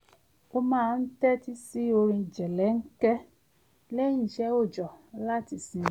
ó máa ń tẹ́tí sí orin jẹ̀lẹ̀ńkẹ́ lẹ́yìn isẹ́ òòjọ́ láti sinmi